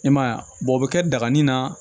I m'a ye wa o bɛ kɛ daganin na